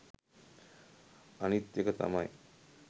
අනිත් එක තමයි